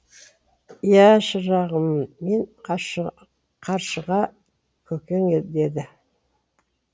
иә шырағым мен қаршыға көкең деді